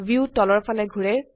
view তলৰ ফালে ঘোৰে